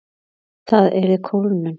Það yrði kólnun.